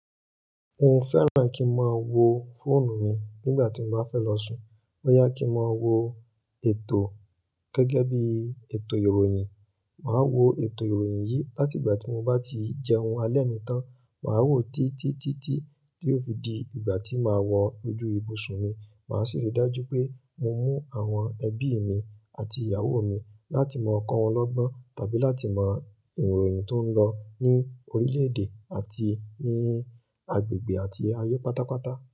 Mo fẹ́ràn kí n máa wo fóònù mi nígbà tí mo bá fẹ́ lọ sùn. Boya kí mo wo ètò gẹ́gẹ́ bí ètò ìròyìn. Màá wo ètò ìròyìn yìí láti ìgbà tí mo bá ti jẹun alẹ́ mi tán. Màá wò títí títí tí ó fi di ìgbà tí màá wọ ojú ibùsùn mi. Màá sì ri dájú pé mo mú àwọn ẹbí mi àti ìyàwó mi láti máa kọ́ wọn lọ́gbọ́n tàbí láti mọ ìròyìn tó ń lọ ní orílẹ̀-èdè àti ní agbègbè àti ayé pátápátá.